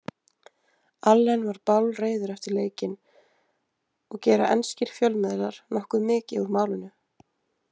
Allen var bálreiður eftir leikinn og gera enskir fjölmiðlar nokkuð mikið úr málinu.